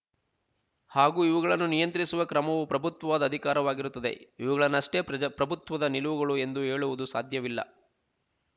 ಹಾಗೂ ಇವುಗಳನ್ನು ನಿಯಂತ್ರಿಸುವ ಕ್ರಮವೂ ಪ್ರಭುತ್ವದ ಅಧಿಕಾರವಾಗಿರುತ್ತದೆ ಇವುಗಳನ್ನಷ್ಟೇ ಪ್ರಜ ಪ್ರಭುತ್ವದ ನಿಲುವುಗಳು ಎಂದು ಹೇಳುವುದು ಸಾಧ್ಯವಿಲ್ಲ